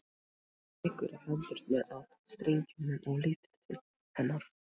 Hann tekur hendurnar af strengjunum og lítur til hennar.